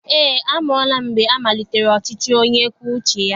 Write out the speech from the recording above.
Eé, amụọla m mgbe amalitere ọchịchị onye kwue uche ya.